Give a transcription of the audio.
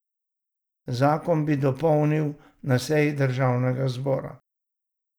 Zakon bi dopolnili na seji državnega zbora.